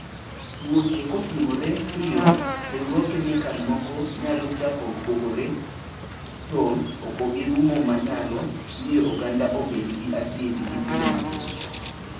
tuocho kotimore piyo riruog kemikal moko nyalo chako kuogore to okobirumu manaylo miyo oganda obed gi asid gi bilo makech.